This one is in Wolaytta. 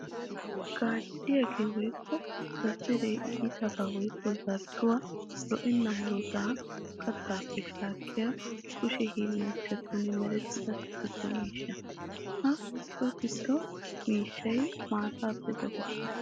Gacciyaage woykko zazzaree iitaba woykko zardduwa lo'onne murutta kattappe shaakiya kushe hiillanchchattun merettiya so gido miishsha. Ha so gido miishshay maatappe daddeetes.